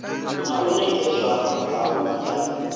na u nekedzwa havhui ha